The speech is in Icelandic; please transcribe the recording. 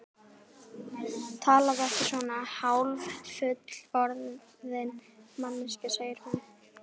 Talaðu ekki svona, hálffullorðin manneskjan, segir hún.